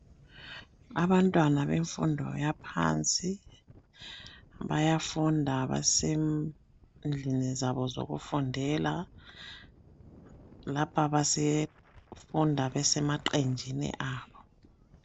Abantwana bemfundo yaphansi bayafunda basendlini zabo zokufundela ngapha basefunda besemaqenjini abo